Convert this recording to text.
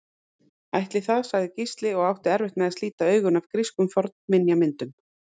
Ætli það sagði Gísli og átti erfitt með að slíta augun af grískum fornminjamyndum.